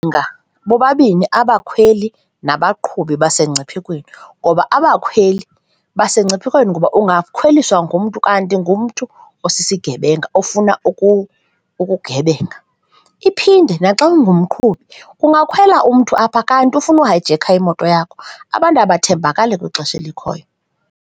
bobabini abakhweli nabaqhubi basengciphekweni ngoba abakhweli basengciphekweni ngoba ungakhweliswa ngumntu kanti ngumntu osisigebenga ofuna ukugebenga. Iphinde naxa ungumqhubi, kungakhwela umthu apha kanti ufuna uhayijekha imoto yakho, abantu akathembakali kwixesha elikhoyo.